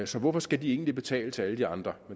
så hvorfor skal de egentlig betale til alle de andre